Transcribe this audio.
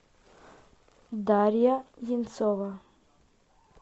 дарья енцова